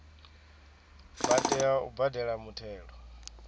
vha tea u badela muthelo